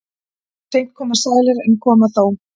Seint koma sælir en koma þó.